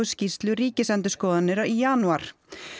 skýrslu Ríkisendurskoðunar í janúar